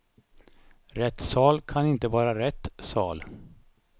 Rättssal kan inte vara rätt sal.